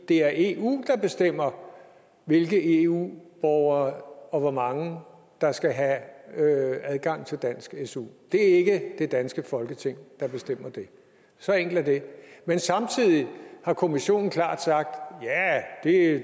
det er eu der bestemmer hvilke eu borgere og hvor mange der skal have adgang til dansk su det er ikke det danske folketing der bestemmer det så enkelt er det men samtidig har kommissionen klart sagt det